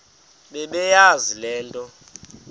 bebeyazi le nto